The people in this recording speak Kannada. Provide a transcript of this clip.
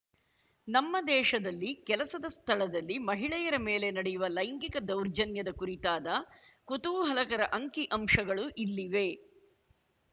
ನಮ್ಮ ದೇಶದಲ್ಲಿ ಕೆಲಸದ ಸ್ಥಳದಲ್ಲಿ ಮಹಿಳೆಯರ ಮೇಲೆ ನಡೆಯುವ ಲೈಂಗಿಕ ದೌರ್ಜನ್ಯದ ಕುರಿತಾದ ಕುತೂಹಲಕರ ಅಂಕಿಅಂಶಗಳು ಇಲ್ಲಿವೆ